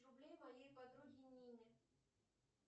рублей моей подруге нине